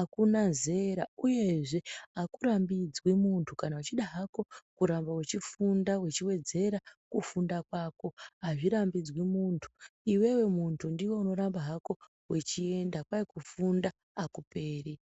akuna zera uyezve akurambidzwi muntu kana wechida hako kuramba wechifunda wechiwedzera kufunda kwako azvirambidzwi munhu iwewe muntu ndiwe unoramba hako wechienda kwai kufunda akuperi.